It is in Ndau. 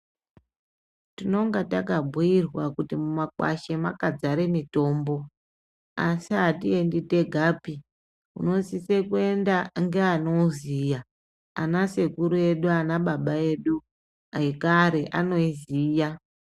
Tinonga takabhuyirwa kut mumakwasha Mazar mitombo asi atiendi tegapi unosisa kuenda ngeanouziya anasekuru edu nanababa edu ekare anoiziya .